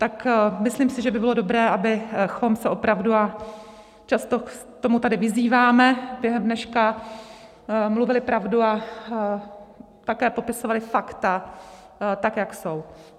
Tak myslím si, že by bylo dobré, abychom opravdu, a často k tomu tady vyzýváme během dneška, mluvili pravdu a také popisovali fakta, tak jak jsou.